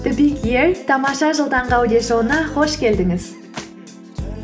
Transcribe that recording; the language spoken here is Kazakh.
тамаша жыл таңғы аудиошоуына қош келдіңіз